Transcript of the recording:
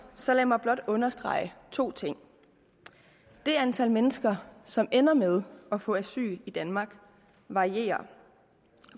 så lad mig blot understrege to ting det antal mennesker som ender med at få asyl i danmark varierer